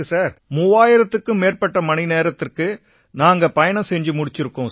3000த்திற்கும் மேற்பட்ட மணிநேரத்துக்கு நாங்க பயணம் செஞ்சிருக்கோம்